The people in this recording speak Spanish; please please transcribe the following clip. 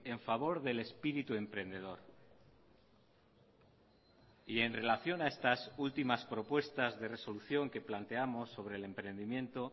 en favor del espíritu emprendedor y en relación a estas últimas propuestas de resolución que planteamos sobre el emprendimiento